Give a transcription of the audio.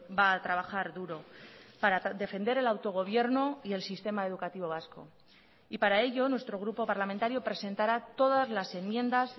va a trabajar duro para defender el autogobierno y el sistema educativo vasco y para ello nuestro grupo parlamentario presentará todas las enmiendas